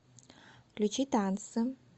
включи танцы